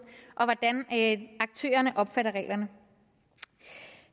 og hvordan aktørerne opfatter reglerne